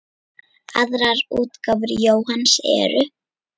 Aðrar útgáfur Jóhanns eru